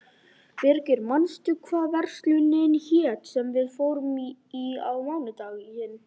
Birgir, manstu hvað verslunin hét sem við fórum í á mánudaginn?